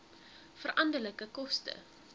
veranderlike koste